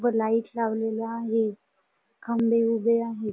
व लाईट लावलेले आहे खंबे उभे आहेत.